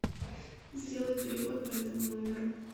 сделай перевод по этому номеру